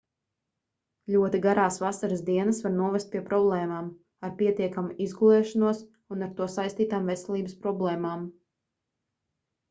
ļoti garās vasaras dienas var novest pie problēmām ar pietiekamu izgulēšanos un ar to saistītām veselības problēmām